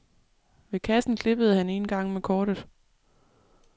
Ved kassen klippede han en gang med kortet.